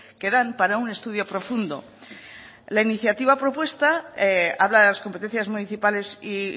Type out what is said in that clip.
que dan para un estudio profundo la iniciativa propuesta habla de las competencias municipales y